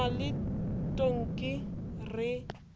re na le tonki re